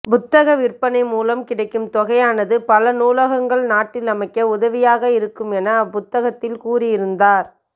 புத்தக விற்பனை மூலம் கிடைக்கும் தொகையானது பல நூலகங்கள் நாட்டில் அமைக்க உதவியாக இருக்கும் என அப்புத்தகத்தில் கூறியிருந்தார்